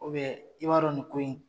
i b'a dɔn nin ko in.